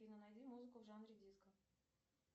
афина найди музыку в жанре диско